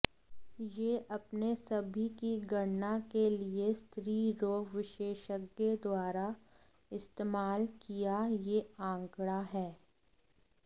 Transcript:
यह अपने सभी की गणना के लिए स्त्रीरोग विशेषज्ञ द्वारा इस्तेमाल किया यह आंकड़ा है